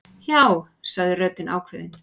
Já, sagði röddin ákveðin.